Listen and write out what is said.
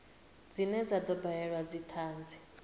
dzine dza do badelwa dzithanzi